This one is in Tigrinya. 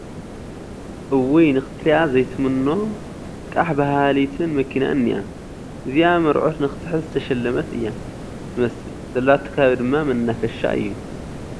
እውይ ንኽትሪኣ ዘይትምኖን ቓሕ ባሃሊትን መኪና እኒኣ ፡ እዚኣ መርሑት ክትሕዝ ዝተሸለመት እያ ትመስል ዘለቶ ኸባቢ ድማ መናፈሻ እዩ ።